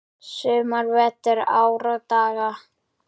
sumar, vetur, ár og daga.